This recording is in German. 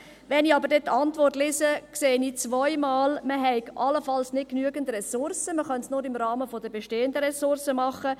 Wenn ich aber die Antwort lese, sehe ich zweimal, man habe allenfalls nicht genügend Ressourcen und man könne es nur im Rahmen der bestehenden Ressourcen machen.